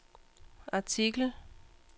artikel